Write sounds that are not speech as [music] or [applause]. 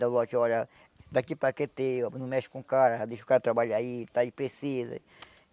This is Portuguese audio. [unintelligible] a, olha, daqui para, [unintelligible] não mexe com o cara, deixa o cara trabalhar aí, está aí, precisa.